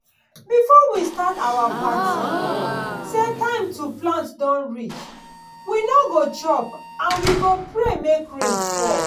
before we start our party say time to plant don reach we no go chop and we go pray make rain fall.